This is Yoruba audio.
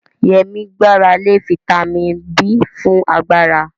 Yemi gbára lé fítámìnì B fún agbára.